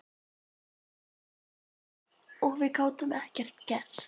Og við gátum ekkert gert.